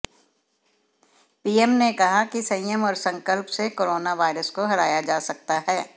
PM ने कहा कि संयम और संकल्प से कोरोना वायरस को हराया जा सकता है